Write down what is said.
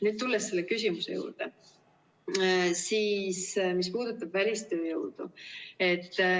Nüüd tulen selle küsimuse juurde, mis puudutab välistööjõudu.